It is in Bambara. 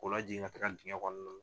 K'o lajigin ka ka taga digɛn kɔnɔna la.